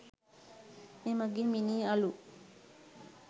මෙමගින් මිනී අළු